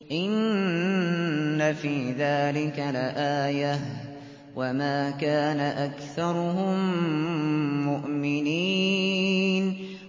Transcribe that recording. إِنَّ فِي ذَٰلِكَ لَآيَةً ۖ وَمَا كَانَ أَكْثَرُهُم مُّؤْمِنِينَ